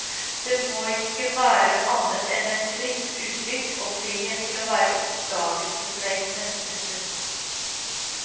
Det må ikke være annet enn et fritt uttrykk og frihet til å være oppdagelsesreisende. punktum